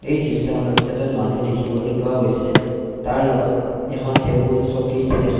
এই দৃশ্যখনত এজন মানুহ দেখিবলৈ পোৱা গৈছে তাৰ লগত এখন টেবুল চকী ।